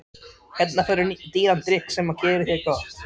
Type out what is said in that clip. Hérna færðu dýran drykk sem gerir þér gott.